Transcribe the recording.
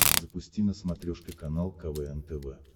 запусти на смотрешке канал квн тв